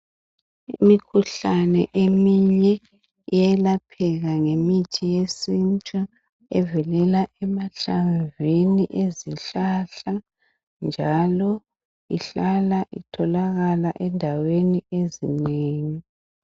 Imikhuhlane eminye iyalapheka ngemithi yesintu evelela emahlamvini ezihlahla njalo ihlala itholakala ezindaweni ezinengi.